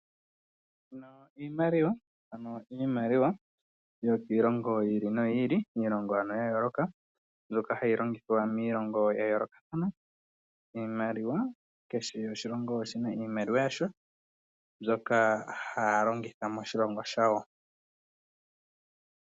Iimaliwa yokiilongo yi ili noyi ili, iilongo ano ya yooloka mbyoka hayi longithwa miilongo ya yoolokathana. Iimaliwa kehe oshilongo oshina iimaliwa yasho mbyoka haya longitha moshilongo shawo.